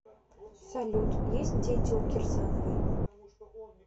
салют есть дети у кирсановой